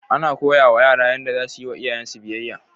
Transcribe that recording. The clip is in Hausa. Ana koya ma yara Yanda za su yiwa iyayensu biyayya